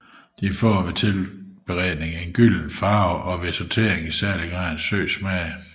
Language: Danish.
De får ved tilberedning en gylden farve og ved sautering i særlig grad en sød smag